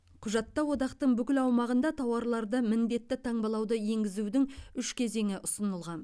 құжатта одақтың бүкіл аумағында тауарларды міндетті таңбалауды енгізудің үш кезеңі ұсынылған